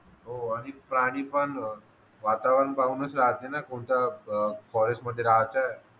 हो आणि प्राणी पण वातावरण पाहूनच राहते ना कोणत्या अह फॉरेस्ट मध्ये राहायचं